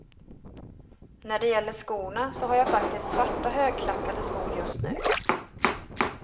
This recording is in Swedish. När det gäller skorna, så har jag faktiskt svarta högklackade skor just nu.